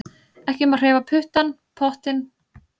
Ekki má hreyfa pottinn á eldavélinni.